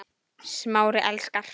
Smári elskar